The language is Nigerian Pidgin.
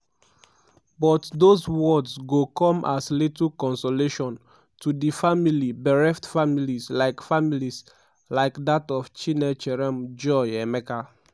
but dose words go come as little consolation to di many bereft families like families like dat of chinecherem joy emeka.